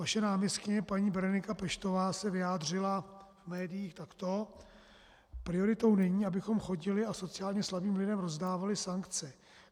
Vaše náměstkyně paní Berenika Peštová se vyjádřila v médiích takto: Prioritou není, abychom chodili a sociálně slabým lidem rozdávali sankce.